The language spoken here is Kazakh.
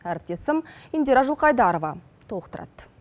әріптесім индира жылқайдарова толықтырады